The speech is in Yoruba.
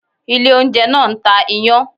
Ilé oúnjẹ náà ń ta iyán